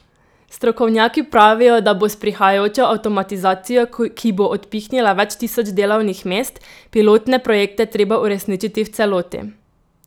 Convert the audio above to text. Strokovnjaki pravijo, da bo s prihajajočo avtomatizacijo, ki bo odpihnila več tisoč delovnih mest, pilotne projekte treba uresničiti v celoti.